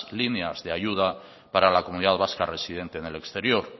líneas de ayuda para la comunidad vasca residente en el exterior